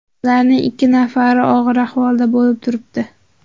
Ularning ikki nafari og‘ir ahvolda bo‘lib turibdi.